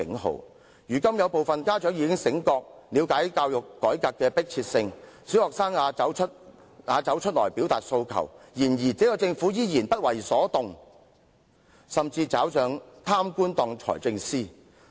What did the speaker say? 雖然有部分家長現在已經醒覺，而且明白教育改革的迫切性，甚至小學生也懂得走出來表達訴求，但政府仍然不為所動，甚至由一位貪官擔當財政司一職。